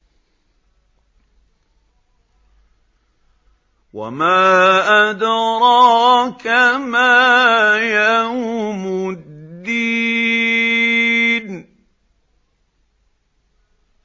وَمَا أَدْرَاكَ مَا يَوْمُ الدِّينِ